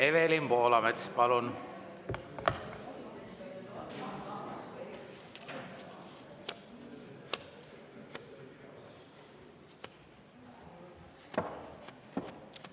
Evelin Poolamets, palun!